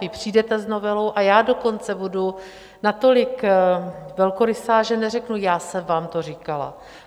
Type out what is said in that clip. Vy přijdete s novelou, a já dokonce budu natolik velkorysá, že neřeknu, já jsem vám to říkala.